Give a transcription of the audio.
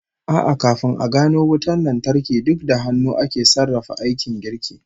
A'a, kafin a gano wutan lantarki, duk da hannu ake sarrafa aikin girki